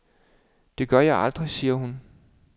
Det gør jeg aldrig, sagde hun.